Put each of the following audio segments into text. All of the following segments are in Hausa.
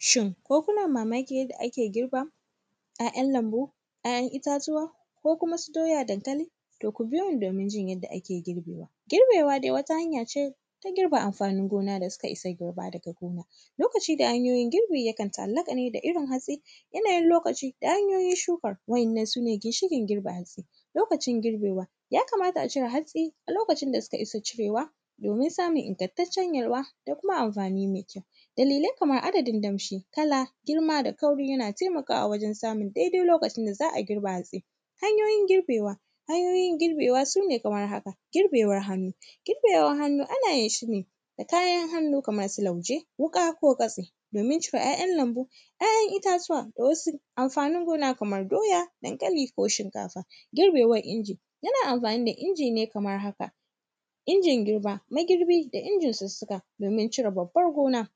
Shin, ko kuna mamakin yadda ake girban ‘ya’yan lambu, ‘ya’yan itatuwa, ko kuma su doya, dankali, to ku biyo mu domin jin yadda ake girbewa. Girbewa de wata hanya ce ta girbe amfanin gona da sika isa girba daga gona. Lokaci da hanyoyin girbi, yakan ta’allaƙa ne da irin hatsi, yanayin lokaci da hanyoyin shukan, wa’yannan su ne ginshiƙin girbe hatsi. Lokacin girbewa, ya kamata a cire hatsi a lokacin da suka isa cirewa, domin smun ingantaccen yalwa da kuma amfani me kyau. Dalilai kaman adadin damshi, kala, girma da kauri, yana temakawa wajen samun dede lokacin da za a girba hatsi. Hanyoyin girbewa, hanyoyin girbewa, su ne kamar haka, girbewan hannu, girbewan hannu ana yin shi ne, da kayan hannu kamar su lauje, wuƙa ko katse, domin cire ‘ya’yan lambu. ‘Ya’yan itatuwa da wasu amfanin gona kamar doya, dankali ko shinkafa. Girbewan inji, ana amfani da inji ne kamar haka, injin girba, magirbi da injin sussuka, domin cire babban gona.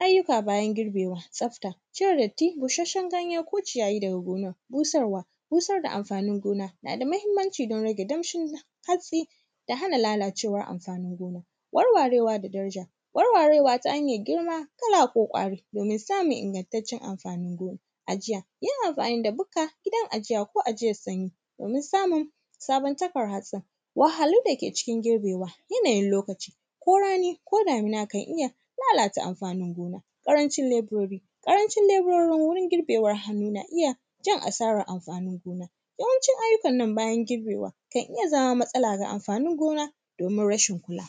Ayyuka bayan girbewa, tsafta, cire datti, bushasshen ganye ko ciyayi daga gonar. Busarwa, busar da amfanin gona, na da mahimmanci don rage damshin hatsi da hana lalacewan amfanin gona. Warwarewa da danja, warwarewa ta hanyar girma, kala ko ƙwari domin samun ingantaccen amfanin gona. Ajiya, yin amfani da bukka, gurin ajiya ko ajiyan sanyi, domin samun sabon taffar hasa. Wahahhalu dake cikin girbewa, yanayin lokaci ko rani ko damina, kan iya lalata amfanin gona. Ƙarancin leburori, ƙarancin leburori wurin girbewan hannu, na iya jan asarar amfanin gona. Yawancin ayyukan nan bayan girbewa, kan iya zama matsala ga amfanin gona, domin rashin kula.